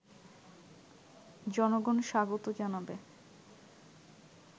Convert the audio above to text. জনগণ স্বাগত জানাবে